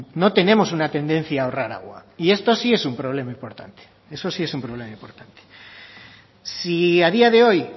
no tenemos una tendencia a ahorrar agua y esto sí es un problema importante eso sí es un problema importante si a día de hoy